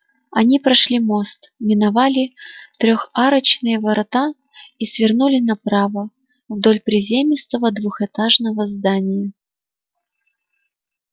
они прошли мост миновали трехарочные ворота и свернули направо вдоль приземистого двухэтажного здания